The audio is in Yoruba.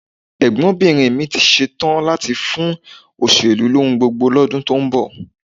Ẹ̀gbọ́nbìnrin mi ti ṣetán láti fún òṣèlú lóhun gbogbo lọ́dún tó ń bọ̀